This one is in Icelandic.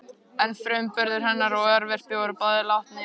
En frumburður hennar og örverpi voru báðir látnir.